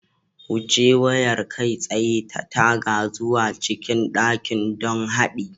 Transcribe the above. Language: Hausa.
Wuce wayar kai tsaye ta taga zuwa cikin dakin don haɗi